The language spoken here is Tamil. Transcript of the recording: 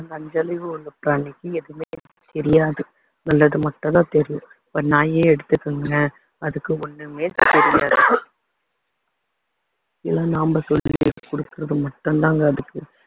அந்த அஞ்சு அறிவு உள்ள பிராணிக்கு எதுவுமே தெரியாது நல்லது மட்டும் தான் தெரியும் இப்போ நாயை எடுத்துக்கோங்களேன் அதுக்கு ஒண்ணுமே தெரியாது ஏதோ நம்ம சொல்லிக் குடுக்குறது மட்டுந்தாங்க அதுக்கு